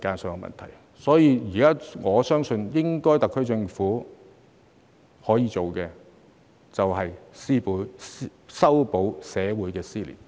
所以，我相信特區政府現在應該可以做的，便是修補社會撕裂。